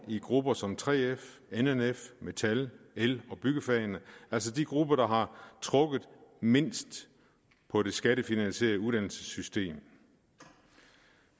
i grupper som 3f nnf metal el og byggefagene altså de grupper der har trukket mindst på det skattefinansierede uddannelsessystem